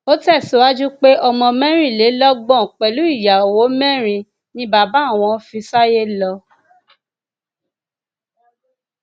ó tẹsíwájú pé ọmọ mẹrìnlélọgbọn pẹlú ìyàwó mẹrin ni bàbá àwọn fi sáyé lọ